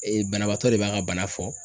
banabaatɔ de b'a ka bana fɔ